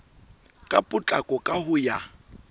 ka potlako ka ho ya